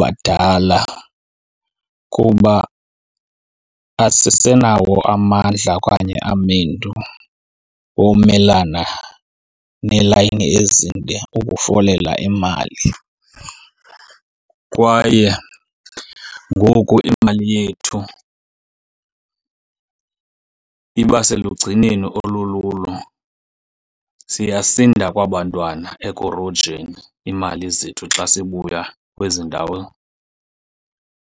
badala kuba asisenawo amandla okanye amendu womelana neelayini ezinde ukufolela imali. Kwaye ngoku imali yethu iba selugcineni olululo, siyasinda kwaba 'ntwana ekurojweni iimali zethu xa sibuya kwezi ndawo